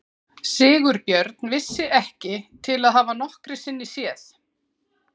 Sigurbjörn vissi ég ekki til að hafa nokkru sinni séð.